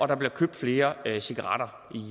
der bliver købt flere cigaretter